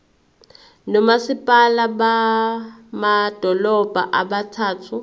nomasipala bamadolobha abathathu